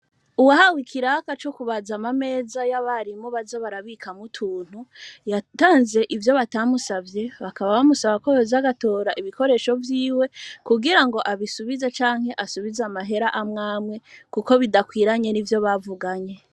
Uwahawe ikiraka co kubazamameza y'abarimu bazo barabika mutuntu yatanze ivyo batamusavye bakaba bamusaba ko bezagatora ibikoresho vyiwe kugira ngo abisubiza canke asubize amahera amwamwe, kuko bidakwiranye ni vyo bavuganye.